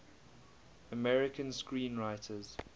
american screenwriters